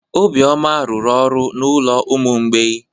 Obioma rụrụ ọrụ n'ụlọ ụmụ mgbei.